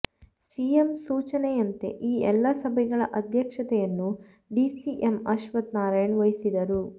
CM ಸೂಚನೆಯಂತೆ ಈ ಎಲ್ಲ ಸಭೆಗಳ ಅಧ್ಯಕ್ಷತೆಯನ್ನು ಡಿಸಿಎಂ ಅಶ್ವತ್ಥ ನಾರಾಯಣ ವಹಿಸಿದರು